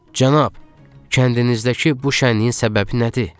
"Cənab, kəndinizdəki bu şənliyin səbəbi nədir?"